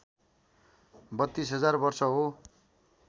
३२ हजार वर्ष हो